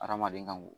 Hadamaden ka ŋ